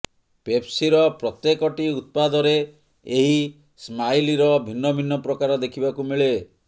ପେପସିର ପ୍ରତ୍ୟେକଟି ଉତ୍ପାଦରେ ଏହି ସ୍ମାଇଲର ଭିନ୍ନ ଭିନ୍ନ ପ୍ରକାର ଦେଖିବାକୁ ମିଳେ